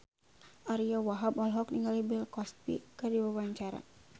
Ariyo Wahab olohok ningali Bill Cosby keur diwawancara